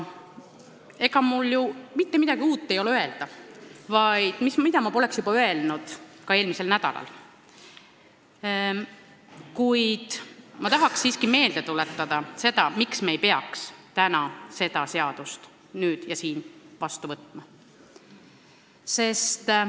Ega mul ei ole öelda mitte midagi uut, mida ma poleks öelnud eelmisel nädalal, kuid tahan siiski meelde tuletada põhjust, miks me ei tohiks täna seda seadust vastu võtta.